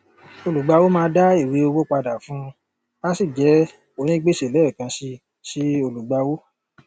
olùgbàwọ máa dá ìwé owó padà fún un á sì jẹ onígbèsè lẹẹkan si sí olùgbàwọ